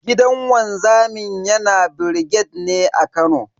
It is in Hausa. Gidan wanzamin yana brigade ne a Kano.